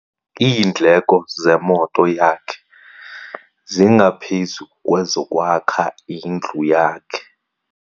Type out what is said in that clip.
Iindleko zemoto yakhe zingaphezu kwezokwakha indlu yakhe.